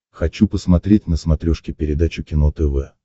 хочу посмотреть на смотрешке передачу кино тв